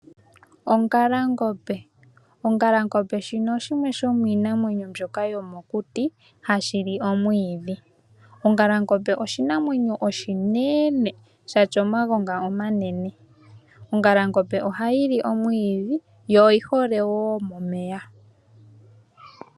Ongalangombe, ongalangombe shino oshimwe shomiinamwenyo mbyoka yomokuti hashi li omwiidhi. Ongalangombe oshinamwenyo oshinene shatya omagonga omanene. Ongalangombe oha yi li omwiidhi yo oyi hole woo momeya.